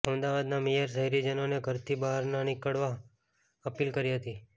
અમદાવાદના મેયરે શહેરીજનોને ઘરથી બહાર ન નીકળવા અપીલ કરી હતી